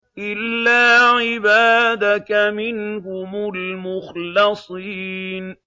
إِلَّا عِبَادَكَ مِنْهُمُ الْمُخْلَصِينَ